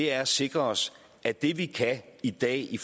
er at sikre os at det vi kan i dag i